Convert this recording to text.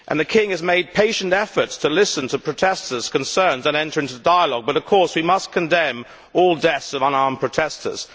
The king has made patient efforts to listen to protestors' concerns and enter into dialogue, but, of course, we must condemn all deaths of unarmed protestors.